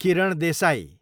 Kiran Desai